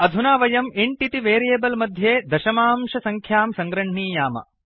अधुना वयं इन्ट् इति वेरियेबल् मध्ये दशमांशसङ्ख्यां सङ्गृह्णीयाम